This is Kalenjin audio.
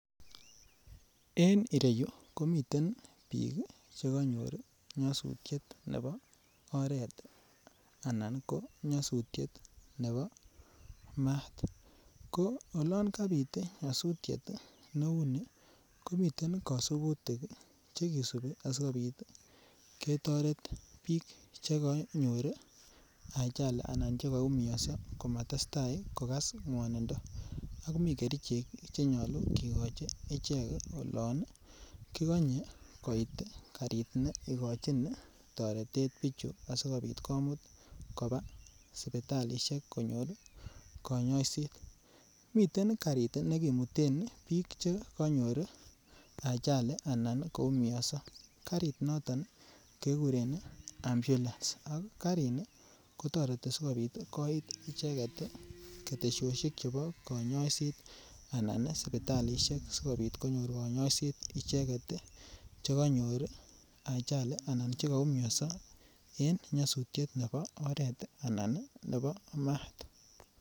En ireyu komiten bik Che konyor nyosutietab oret anan ko nyosutietab maat ko olon kabit nyosutiet neuni komi kasubutik chekisubi asikobit ketoret bik Che konyor ajali anan chekoumioso komatestai kogas ngwanindo ak komii kerichek Che nyolu kigochi ichek olon kigonye koit karit neigochin toretet bichu asikobit komut koba sipitalisiek konyor kanyaiset miten karit nekimuten bik Che konyor ajali anan koumianso karit noto kekuren ambulance Ak karini kotoreti asikobit koit ketosiosyek chebo konyoiset anan sipitalisiek asikobit konyor kanyaiset icheget chekonyor ajali Anan chekoumioso en nyosutiet nebo oret anan nebo maat